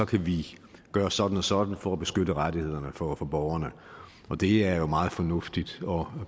kan vi gøre sådan og sådan for at beskytte rettighederne for for borgerne det er jo meget fornuftigt og